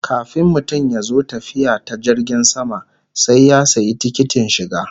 Kafin mutum ya zo tafiya ta jirgin sama sai ya sayi tikitin shiga